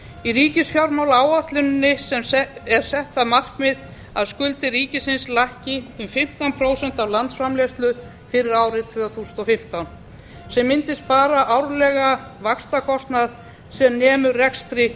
í ríkisfjármálaáætluninni er sett það markmið að skuldir ríkisins lækki um fimmtán prósent af landsframleiðslu fyrir árið tvö þúsund og fimmtán sem mundi spara árlega vaxtakostnað sem nemur rekstri